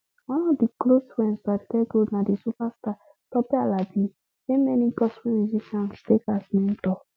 one of di close friends to aduke gold na di superstar tope alabi wey many gospel musicians take as mentor